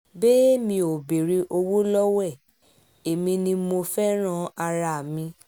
bẹ́ẹ̀ mi ò béèrè owó lọ́wọ́ ẹ̀ èmi ni mo fẹ́ẹ́ ran ara mi